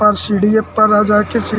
पर सीढिए पर रा जाके सी --